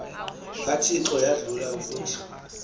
kathixo yadlula kuthi